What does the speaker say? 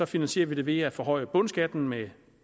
finansierer vi det ved at forhøje bundskatten med